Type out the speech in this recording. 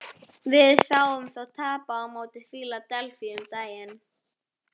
Við sáum þá tapa á móti Fíladelfíu um daginn.